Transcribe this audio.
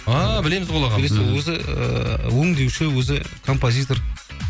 а білеміз ғой ол ағамызды өзі өңдеуші өзі композитор